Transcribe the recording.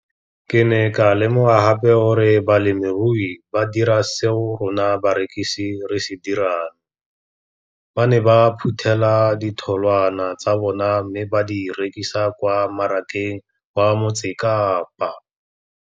Ke ne ka lemoga gape gore balemirui ba dira seo rona barekisi re se dirang ba ne ba phuthela ditholwana tsa bona mme ba di rekisa kwa marakeng wa Motsekapa.